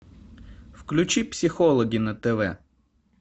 включи психологи на тв